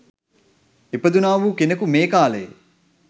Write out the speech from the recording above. ඉපදුණා වූ කෙනෙකු මේ කාලයේ